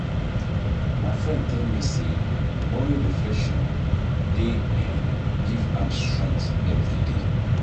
My friend tell me say morning reflection dey um give am strength everyday.